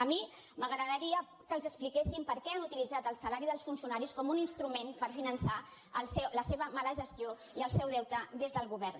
a mi m’agradaria que els expliquessin per què han utilitzat el salari dels funcionaris com un instrument per finançar la seva mala gestió i el seu deute des del govern